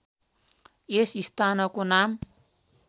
यस स्थानको नाम